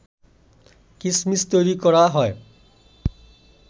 কিসমিস তৈরি করা হয়